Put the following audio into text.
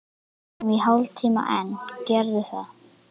Verum í hálftíma enn, gerðu það.